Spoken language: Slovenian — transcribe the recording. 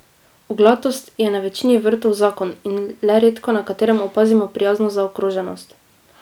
Oglatost je na večini vrtov zakon in le redko na katerem opazimo prijazno zaokroženost.